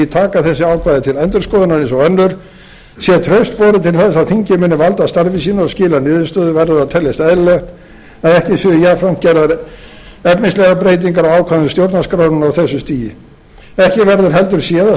taka þessi ákvæði til endurskoðunar eins og önnur sé traust borið til þess að þingið muni valda starfi sínu og skila niðurstöðu verður að teljast eðlilegt að ekki séu jafnframt gerðar efnislegar breytingar á ákvæðum stjórnarskrárinnar á þessu stigi ekki verður heldur séð að